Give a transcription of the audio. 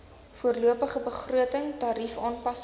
voorlopige begroting tariefaanpassings